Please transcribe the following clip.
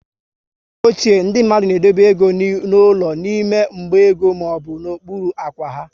Mgbe ochie, ndị mmadụ na edobe égo n'ụlọ n'ime mgba ego maọbụ n'okpuru ákwá ha